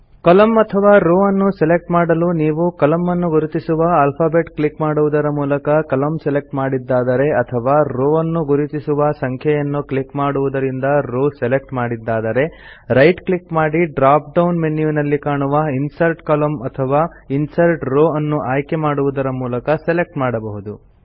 ಕಾಲಮ್ನ ಅಥವಾ ರೋವ್ ಅನ್ನು ಸೆಲೆಕ್ಟ್ ಮಾಡಲು ನೀವು ಕಾಲಮ್ನ ಅನ್ನು ಗುರುತಿಸುವ ಆಲ್ಫಾಬೆಟ್ ಕ್ಲಿಕ್ ಮಾಡುವುದರ ಮೂಲಕ ಕಾಲಮ್ನ ಸೆಲೆಕ್ಟ್ ಮಾಡಿದ್ದಾದರೆ ಅಥವಾ ರೋವ್ ಅನ್ನು ಗುರುತಿಸುವ ಸಂಖ್ಯೆಯನ್ನು ಕ್ಲಿಕ್ ಮಾಡುವುದರಿಂದ ರೋವ್ ಸೆಲೆಕ್ಟ್ ಮಾಡಿದ್ದಾದರೆ ರೈಟ್ ಕ್ಲಿಕ್ ಮಾಡಿ ಡ್ರಾಪ್ ಡೌನ್ ಮೆನ್ಯುನಲ್ಲಿ ಕಾಣುವ ಇನ್ಸರ್ಟ್ ಕಾಲಮ್ನ್ಸ್ ಅಥವಾ ಇನ್ಸರ್ಟ್ ರೋವ್ಸ್ ಅನ್ನು ಆಯ್ಕೆ ಮಾಡುವುದರ ಮೂಲಕ ಸೆಲೆಕ್ಟ್ ಮಾಡಬಹುದು